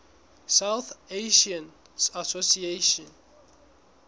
south asian association